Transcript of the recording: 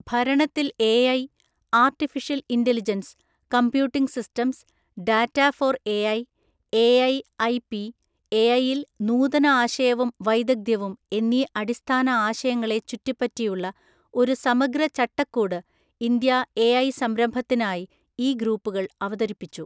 ഭരണത്തിൽ AI, artificial intelligence computing systems, data for AI, AI IP, എഐയിൽ നൂതന ആശയവും വൈദഗ്ധ്യവും എന്നീ അടിസ്ഥാന ആശയങ്ങളെ ചുറ്റിപ്പറ്റിയുള്ള ഒരു സമഗ്ര ചട്ടക്കൂട് ഇന്ത്യാഎഐ സംരംഭത്തിനായി ഈ ഗ്രൂപ്പുകൾ അവതരിപ്പിച്ചു.